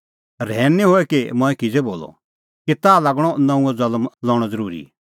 रहैन निं हऐ कि मंऐं किज़ै बोलअ कि ताह लागणअ नऊंअ ज़ल्म लणअ ज़रूरी